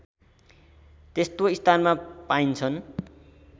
त्यस्तो स्थानमा पाइन्छन्